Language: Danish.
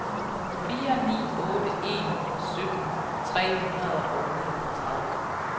fire ni otte en sytten tre hundrede og niogtredive